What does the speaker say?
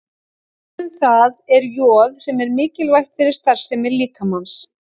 Dæmi um það er joð sem er mikilvægt fyrir starfsemi líkamans.